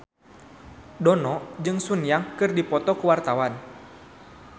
Dono jeung Sun Yang keur dipoto ku wartawan